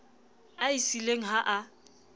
a e siileng ha a